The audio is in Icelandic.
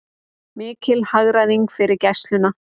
Mikil hagræðing fyrir Gæsluna